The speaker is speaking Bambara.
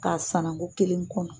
K'a sananko kelen kɔnɔ.